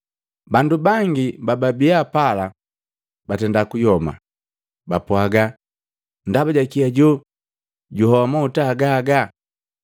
Bandu bangi bababi pala batenda kuyoma, bapwaaga, “Ndaba jakii ajoo juhoa mahuta agaga?